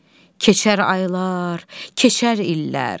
Keçər aylar, keçər illər.